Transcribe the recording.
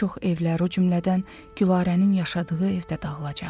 Bir çox evlər, o cümlədən Gülarənin yaşadığı ev də dağılacaq.